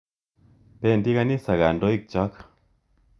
Pendi kanisa kandoik chok.